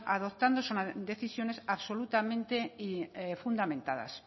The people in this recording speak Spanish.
adoptando son decisiones absolutamente fundamentadas